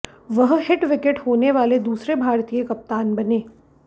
वह hit wicket होने वाले दूसरे भारतीय कप्तान बने